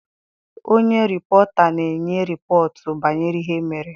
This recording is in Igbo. Onye rịpọta na-enye rịpọtụ banyere ihe mere.